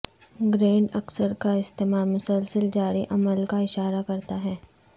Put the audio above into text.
grand اکثر کا استعمال مسلسل جاری عمل کا اشارہ کرتا ہے